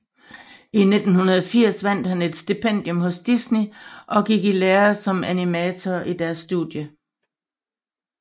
I 1980 vandt han et stipendium hos Disney og gik i lære som animator i deres studie